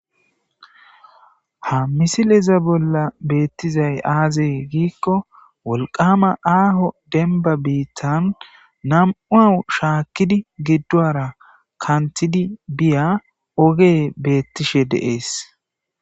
ha misileza bolla beettizay aazey giikko wolqama aaho denba biittan nam7uau shaakkidi giddoara kantidi biya oge beettishe deees